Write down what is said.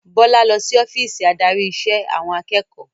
Bọlá lọ sí ọ́fíìsì adarí ìṣe àwọn akẹ́kọ̀ọ́